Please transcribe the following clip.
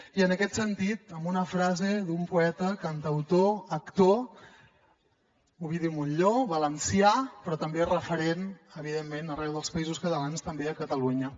i en aquest sentit amb una frase d’un poeta cantautor actor ovidi montllor valencià però també referent evidentment arreu dels països catalans també a catalunya